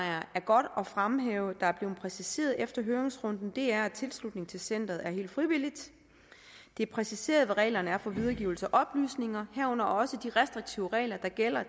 er godt at fremhæve er blevet præciseret efter høringsrunden det er præciseret at tilslutningen til centeret er helt frivilligt det er præciseret hvad reglerne er for videregivelse af oplysninger herunder også de restriktive regler der gælder